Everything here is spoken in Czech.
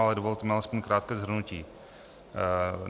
Ale dovolte mi aspoň krátké shrnutí.